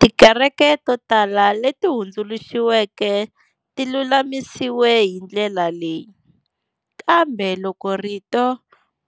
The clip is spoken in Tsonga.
Tikereke to tala leti hundzuluxiweke ti lulamisiwe hi ndlela leyi, kambe loko rito